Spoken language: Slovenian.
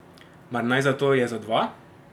Mar naj zato je za dva?